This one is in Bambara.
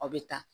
Aw bɛ ta